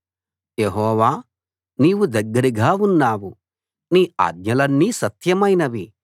యెహోవా నీవు దగ్గరగా ఉన్నావు నీ ఆజ్ఞలన్నీ సత్యమైనవి